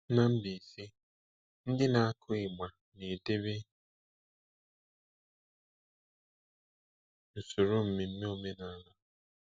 Na Mbaise, ndị na-akụ ịgba na-edebe usoro mmemme omenala.